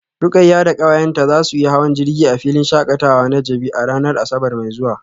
Rukayyah da kawayenta za su yi hawan jirgi a filin shakatawa na jabi a ranar asabar mai zuwa